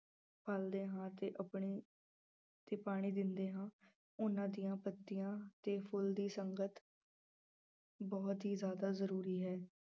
ਪਲਦੇ ਹਾਂ ਤੇ ਆਪਣੀ ਤੇ ਪਾਣੀ ਦਿੰਦੇ ਹਾਂ ਉਹਨਾਂ ਦੀਆਂ ਪੱਤੀਆਂ ਤੇ ਫੁੱਲ ਦੀ ਸੰਗਤ ਬਹੁਤ ਹੀ ਜ਼ਿਆਦਾ ਜ਼ਰੂਰੀ ਹੈ।